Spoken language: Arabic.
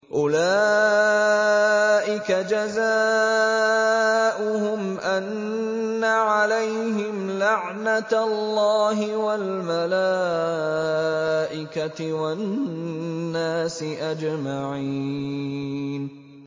أُولَٰئِكَ جَزَاؤُهُمْ أَنَّ عَلَيْهِمْ لَعْنَةَ اللَّهِ وَالْمَلَائِكَةِ وَالنَّاسِ أَجْمَعِينَ